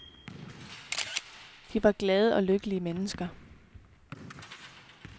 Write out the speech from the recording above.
De var glade og lykkelige mennesker.